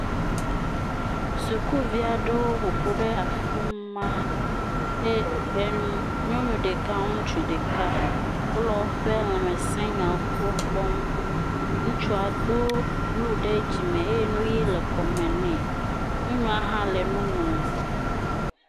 Sukuvi aɖewo ƒo ƒu ɖe afii ma eye ɛm, nyɔnu ɖeka, ŋutsu ɖeka wole woƒe lãmesẽnyawo gbɔ kpɔm. Ŋutsua do bluu ɖe dzime eye nu ʋi le kɔme nɛ. Nyɔnua hã le nu ŋlɔm.